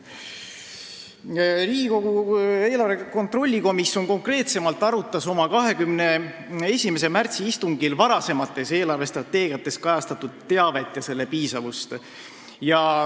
Riigikogu eelarve kontrolli komisjon arutas oma 21. märtsi istungil varasemates eelarvestrateegiates kajastatud teavet ja selle piisavust.